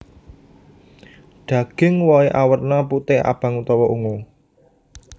Daging wohé awerna putih abang utawa ungu